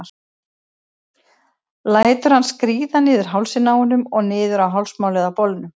Lætur hann skríða niður hálsinn á honum og niður á hálsmálið á bolnum.